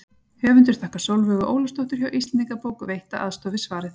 Höfundur þakkar Sólveigu Ólafsdóttur hjá Íslendingabók veitta aðstoð við svarið.